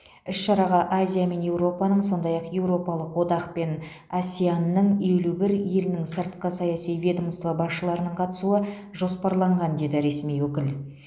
іс шараға азия мен еуропаның сондай ақ еуропалық одақ пен асеан ның елу бір елінің сыртқы саяси ведомство басшыларының қатысуы жоспарланған деді ресми өкіл